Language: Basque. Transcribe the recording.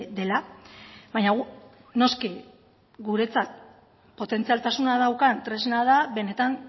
dela baina gu noski guretzat potentzialtasuna daukan tresna da benetan